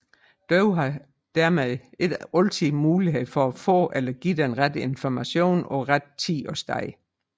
Døve har dermed ikke altid mulighed for at få eller give den rette information på rette tid og sted